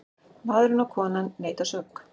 Maðurinn og konan neita sök.